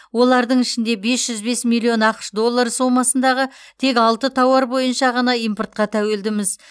олардың ішінде бес жүз бес миллион ақш доллары сомасындағы тек алты тауар бойынша ғана импортқа тәуелдіміз